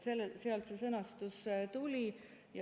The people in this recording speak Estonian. Sealt see sõnastus tuli.